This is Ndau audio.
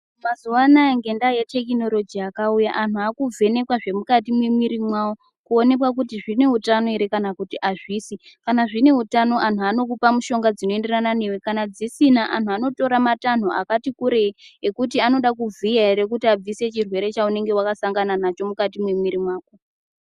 Mazuvanaya ngendaa yetekhinoroji yakauya, antu akuvhenekwa zvemukati memwiri yavo kuonekwa kuti zvineutano ere kana kuti azvisi. Kana zvine utano, antu anokupa mishonga dzinoenderana newe, zvisina antu anotora matanho akati kurei ekuti anoda kuvhiya ere kuti vabvise chirwere chevanenge vakasangana nacho mukati memwiri mwako.